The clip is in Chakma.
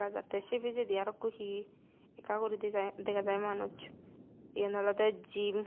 te se pijedi arawkko hi ekka guri dega jai manus eyan alode jim.